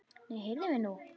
Nei, heyrðu mig nú!